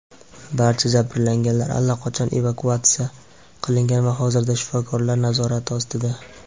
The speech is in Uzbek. Barcha jabrlanganlar allaqachon evakuatsiya qilingan va hozirda shifokorlar nazorati ostida.